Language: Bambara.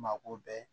Mako bɛɛ